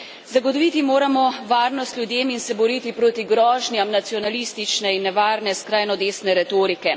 Zagotoviti moramo varnost ljudem in se boriti proti grožnjam nacionalistične in nevarne skrajno desne retorike.